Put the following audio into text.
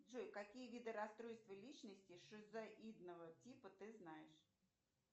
джой какие виды расстройства личности шизоидного типа ты знаешь